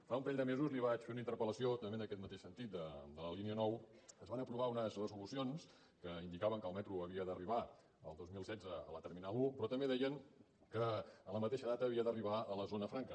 fa un parell de mesos li vaig fer una interpel9 es van aprovar unes resolucions que indicaven que el metro havia d’arribar el dos mil setze a la terminal un però també deien que en la mateixa data havia d’arribar a la zona franca